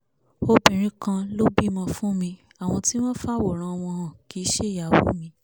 obìnrin kan lọ́bi ọmọ fún mi àwọn tí wọ́n ń fàwòrán wọn hàn kìí ṣe ìyàwó mi